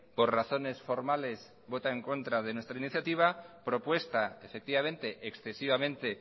por razones formales vota en contra de nuestra iniciativa propuesta efectivamente excesivamente